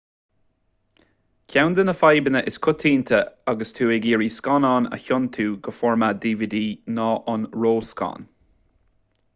ceann de na fadhbanna is coitianta agus tú ag iarraidh scannán a thiontú go formáid dvd ná an ró-scan